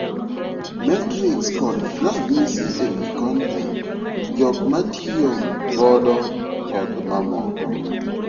Metrics kod ranyisi ewii kontent ,jok matiyo godo kod moko.